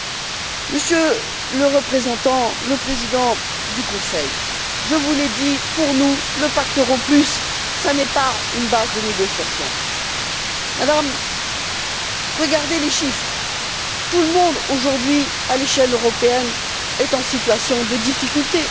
Madame la Présidente du Conseil, je vous l'ai dit, pour nous le pacte euro plus n'est pas une base de négociation. Madame, regardez les chiffres, tout le monde aujourd'hui, à l'échelle européenne, est en situation de difficulté.